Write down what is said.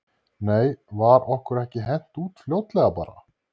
Nei var okkur ekki hent út fljótlega bara?